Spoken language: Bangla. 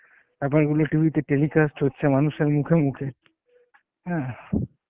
ব্যপার এগুলো TV তে telecast হচ্ছে মানুষের মুখে মুখে, হ্যাঁ